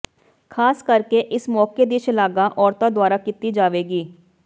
ਖਾਸ ਕਰਕੇ ਇਸ ਮੌਕੇ ਦੀ ਸ਼ਲਾਘਾ ਔਰਤਾਂ ਦੁਆਰਾ ਕੀਤੀ ਜਾਵੇਗੀ